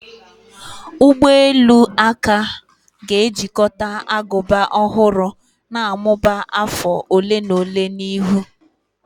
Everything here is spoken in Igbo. Ụgbọ elu aka ga-ejikọta agụba ọhụrụ na-amụba afọ ole na ole n'ihu.